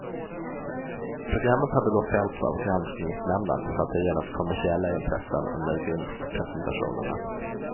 Programmet hade då fällts av granskningsnämnden för att ha gynnat kommersiella intressen under vinstpresentationerna.